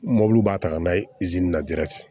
mobili b'a ta n'a ye na